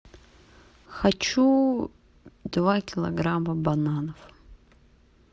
хочу два килограмма бананов